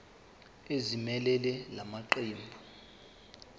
ezimelele la maqembu